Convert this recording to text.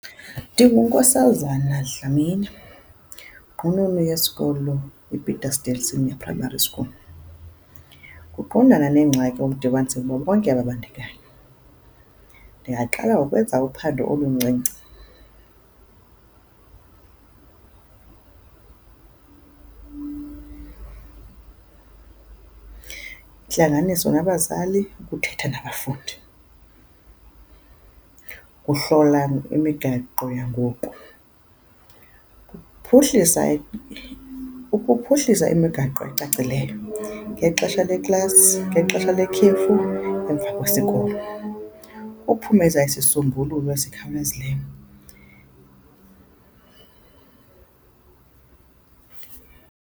NdinguNkosazana Dlamini, inqununu yesikolo iPetersdale Senior Primary School. Ukuqondana neengxaki bonke ababandakanyekayo. Ndingaqala ngokwenza uphando oluncinci intlanganiso nabazali, ukuthetha nabafundi, ukuhlola imigaqo yangoku, ukuphuhlisa ukuphuhlisa imigaqo ecacileyo ngexesha leklasi, ngexesha lekhefu, emva kwesikolo, uphumeza isisombululo esikhawulezileyo.